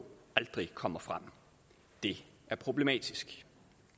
aldrig kommer frem det er problematisk